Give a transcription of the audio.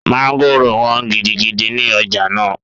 Mọ́ngòrò wọ́n gidigidi ní ọjà náà